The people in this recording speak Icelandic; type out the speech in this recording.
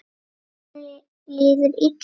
Honum líður illa núna.